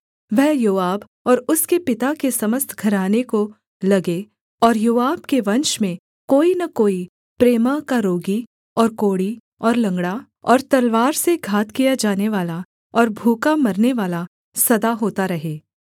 वह योआब और उसके पिता के समस्त घराने को लगे और योआब के वंश में कोई न कोई प्रमेह का रोगी और कोढ़ी और लँगड़ा और तलवार से घात किया जानेवाला और भूखा मरनेवाला सदा होता रहे